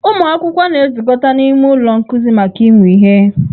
Ụmụ akwụkwọ na-ezukọta n'ime ụlọ nkuzi maka ịmụ ihe.